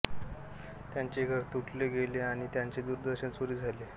त्यांचे घर लुटले गेले आणि त्यांचे दूरदर्शन चोरी झाले